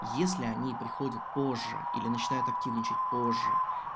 если они приходят позже или начинают активничать позже